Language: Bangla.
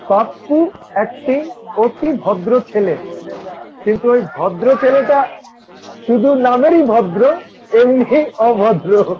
পাপ্পু একটি অতি ভদ্র ছেলে কিন্তু এই ভদ্র ছেলেটা শুধু নামেরই ভদ্র এমনই অভদ্র।